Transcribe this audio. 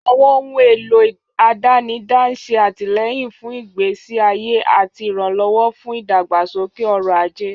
Àwọn ohun èlò àdánidá ń ṣe àtìlẹ́yìn fún ìgbésí ayé àti ìrànlọ́wọ́ fún ìdàgbàsókè ọrọ̀ ajé.